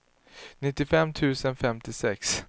nittiofem tusen femtiosex